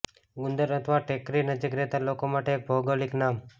ગુંદર અથવા ટેકરી નજીક રહેતા લોકો માટે એક ભૌગોલિક નામ